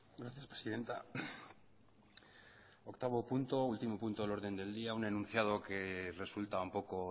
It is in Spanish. gracias presidenta octavo punto último punto del orden del día un enunciado que resulta un poco